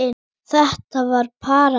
Þetta var paradís.